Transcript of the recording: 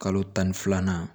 Kalo tan ni filanan